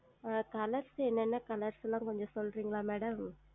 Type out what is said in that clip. ஆஹ் Colors ல என்னென்ன Colors ல்லாம் கொஞ்சம் சொல்றீங்களா Madam